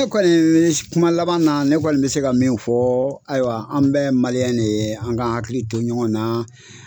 Kɔni kuma laban na ne kɔni bɛ se ka min fɔ ayiwa an bɛ ye de ye an ka hakili to ɲɔgɔn na.